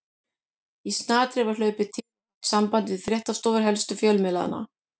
Í snatri var hlaupið til og haft samband við fréttastofur helstu fjölmiðlanna.